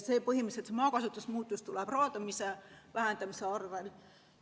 Põhimõtteliselt maakasutuse muutus tuleb raadamise vähendamise abil.